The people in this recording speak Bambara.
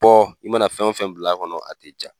Bɔ i mana fɛn wo fɛn bila kɔnɔ a ti ja.